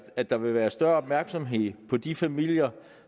at der vil være større opmærksomhed på de familier